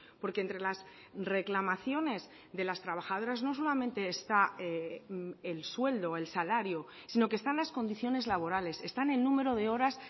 porque entre las reclamaciones de las trabajadoras no solamente está el sueldo el salario sino que están las condiciones laborales están en número de horas